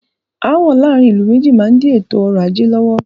Aàwọ̀ láàárín ìlú méjì má n di ètò ọrọ̀ ajé lọ́wọ́.